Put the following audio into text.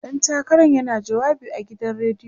ɗan takaran yana jawabi a gidan rediyo